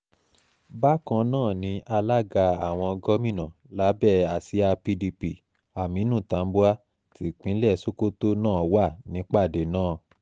bákan náà ni alága àwọn gómìnà lábẹ́ àsíá pdp aminu tambuwal tipinlẹ̀ sokoto náà wà nípàdé náà